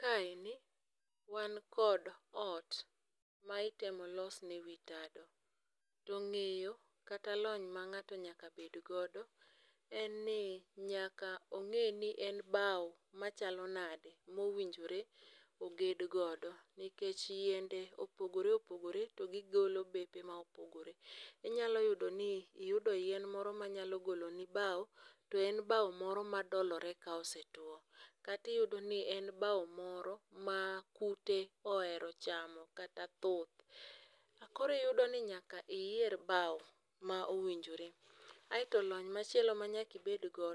Kaeni wan kod ot mitemo losne wi tado to ng'eyo, kata lony ma ng'ato nyaka bed godo en ni nyaka ong' ni en bao machalo nade mowinjore oged godo nikech yiende opogore opogore to gigolo bepe ma opogore. Inyalo yudo ni iyudo yien moro manyalo goloni bao to en doloere ka osetwo kata iyudo ni en bao moro ma kute ohero chamo kata thuth. Koro iyudo ni nyaka iyier bao mowinjore. Kaeto lony moro ma nyaka ibedgo,